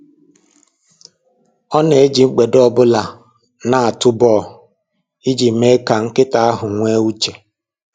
Ọ na-eji mgbede ọbụla na-atụ bọl iji mee ka nkịta ahụ nwee uche.